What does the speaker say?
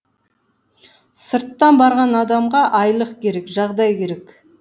сырттан барған адамға айлық керек жағдай керек